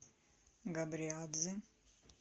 габриадзе